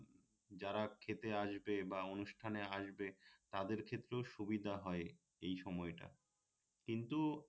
যারা খেতে আসবে বা অনুষ্ঠানে আসবে তাদের ক্ষেত্রেও সুবিধা হয় এই সময়টা কিন্তু